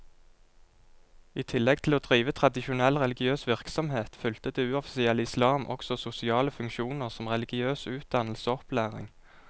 I tillegg til å drive tradisjonell religiøs virksomhet, fylte det uoffisielle islam også sosiale funksjoner som religiøs utdannelse og opplæring.